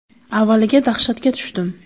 Avvaliga dahshatga tushdim.